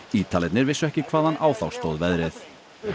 Ítalirnir vissu ekki hvaðan á þá stóð veðrið